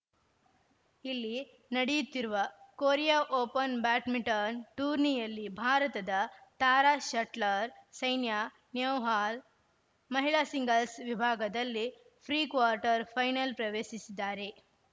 ಇಲ್ಲಿ ನಡಿಯುತ್ತಿರುವ Korea open badminton ಟೂರ್ನಿಯಲ್ಲಿ ಭಾರತದ ತಾರಾ ಶಟ್ಲರ್‌ ಸೈನ್ಯಾ ನೆಹ್ವಾಲ್‌ ಮಹಿಳಾ ಸಿಂಗಲ್ಸ್‌ ವಿಭಾಗದಲ್ಲಿ ಫ್ರೀ ಕ್ವಾಟರ್ ಫೈನಲ್‌ ಪ್ರವೇಶಿಸಿದ್ದಾರೆ